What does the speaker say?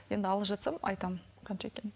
енді алып жатсам айтамын қанша екенін